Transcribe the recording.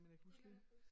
Det kan du ikke huske?